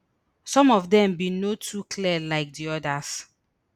some of dem bin no too clear like di odas